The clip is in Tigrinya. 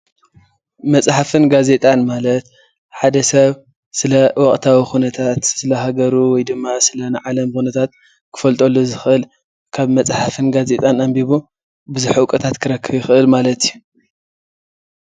መፅሓፍን ጋዜጣን ማለት ሓደ ሰብ ስለ ወቅታዊ ኩነታት ስለሃገሩ ወይ ድማ ስለናይ ዓለም ኩነታት ክፈልጠሉ ዝክእል ካበ መፅሓፍን ጋዜጣን ኣንቢቡ ብዙሕ እውቀታት ክረክብ ይክእል ማለት እዩ፡፡